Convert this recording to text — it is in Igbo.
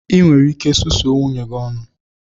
Ị nwere ike susuo nwunye gi ọnụ!